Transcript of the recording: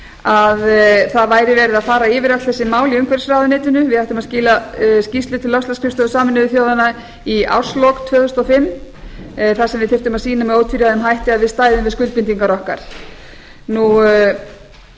að það væri verið að fara yfir öll þessi mál í umhverfisráðuneytinu við ættum að skila skýrslu til loftslagsskrifstofu sameinuðu þjóðanna í árslok tvö þúsund og fimm þar sem við þyrftum að sýna með ótvíræðum hætti að við stæðum við skuldbindingar